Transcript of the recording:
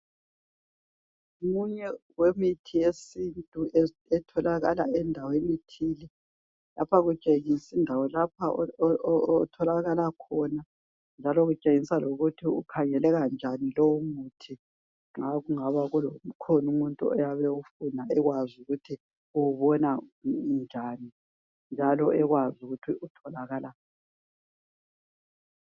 Omunye wemithi wesintu etholakala endaweni ethile lapho kutshengisa indawo otholakala khona njalo kutshengisa lokuthi ukhangeleka njani lowo muthi nxa kungaba kukhona umuntu oyabe ewufuna ekwazi ukuthi uwubona njani njalo ekwazi ukuthi utholakala ngaphi.